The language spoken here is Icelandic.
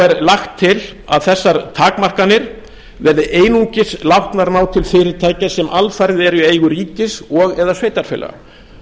er lagt til að þessar takmarkanir verði einungis látnar ná til fyrirtækja sem alfarið eru í eigu ríkis og eða sveitarfélaga nú